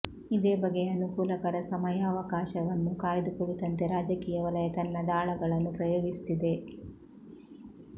ಇದೇ ಬಗೆಯ ಅನುಕೂಲಕರ ಸಮಯಾವಕಾಶವನ್ನು ಕಾಯ್ದುಕುಳಿತಂತೆ ರಾಜಕೀಯ ವಲಯ ತನ್ನ ದಾಳಗಳನ್ನು ಪ್ರಯೋಗಿಸುತ್ತಿದೆ